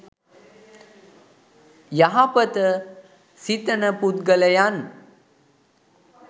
යහපත සිතන පුද්ගලයන්